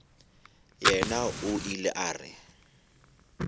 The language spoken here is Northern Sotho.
yena o ile a re